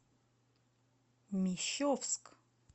мещовск